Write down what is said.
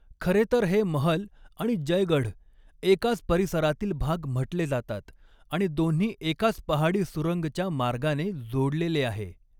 खरे तर हे महल आणि जयगढ़ एकाच परिसरातील भाग म्हटले जातात आणि दोन्ही एकाच पहाड़ी सुरंगच्या मार्गाने जोड़लेले आहे.